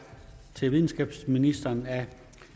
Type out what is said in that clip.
til videnskabsministeren af